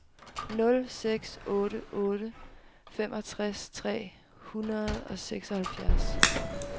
nul seks otte otte femogtres tre hundrede og seksoghalvfjerds